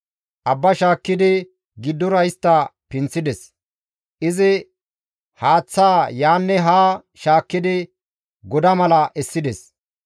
Abba shaakkidi giddora istta pinththides; izi haaththa yaanne haa shaakkidi goda mala essides.